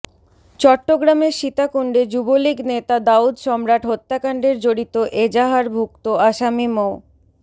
চট্টগ্রামের সীতাকুণ্ডে যুবলীগ নেতা দাউদ সম্রাট হত্যাকাণ্ডের জড়িত এজাহারভুক্ত আসামি মো